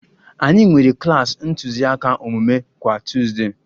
Anyị nwere klas ntụziaka omume kwa Tuuzde